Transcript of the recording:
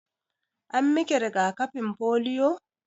An miki riga-kafi polio?